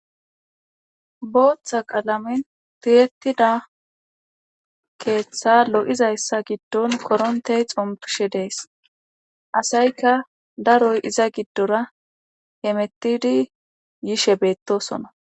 Booththa qalamen tiyetida keeththa lo'izayssa giddon korontey xompishe dees asayka daroy iza giddora hemettidi yishe beettosona.